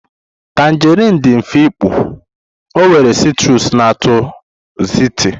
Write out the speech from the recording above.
tanjerịn dị mfe ịkpụ, ọ nwere citrus na uto zesty.